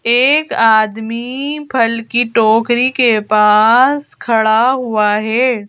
एक आदमी फल की टोकरी के पास खड़ा हुआ है।